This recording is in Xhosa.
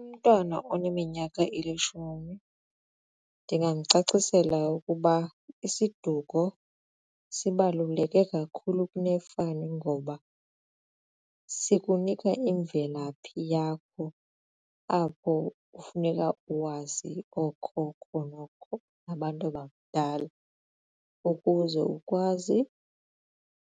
Umntwana oneminyaka elishumi ndingamcacisela ukuba isiduko sibaluleke kakhulu kunefani ngoba sikunika imvelaphi yakho apho kufuneka wazi ookhokho nookhokho abantu bakudala ukuze ukwazi